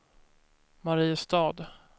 Mariestad